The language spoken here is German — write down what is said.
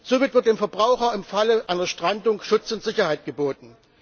Somit wird dem Verbraucher im Falle einer Strandung Schutz und Sicherheit geboten.